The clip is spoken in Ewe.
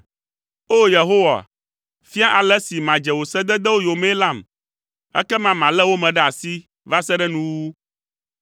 O, Yehowa, fia ale si madze wò sededewo yomee lam, ekema malé wo me ɖe asi va se ɖe nuwuwu.